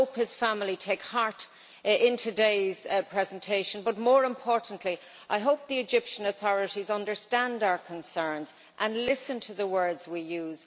I hope his family take heart from today's presentation, but more importantly, I hope the Egyptian authorities understand our concerns, and listen to the words we use.